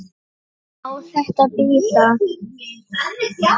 Má þetta bíða?